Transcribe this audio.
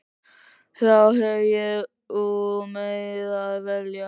Þá hef ég úr meiru að velja.